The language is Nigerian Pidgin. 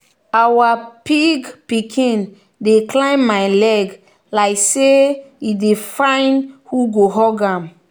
our pig pikin dey climb my leg like say e dey find who go hug am.